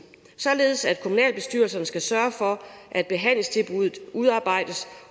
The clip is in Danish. således at kommunalbestyrelserne skal sørge for at behandlingstilbuddet udarbejdes